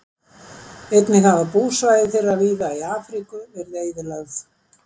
einnig hafa búsvæði þeirra víða í afríku verið eyðilögð